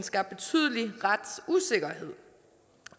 skabt betydelig retsusikkerhed